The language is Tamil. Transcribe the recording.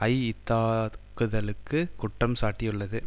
ஐ இத்தாக்குதலுக்கு குற்றம் சாட்டியுள்ளது